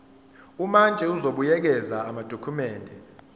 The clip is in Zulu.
umantshi uzobuyekeza amadokhumende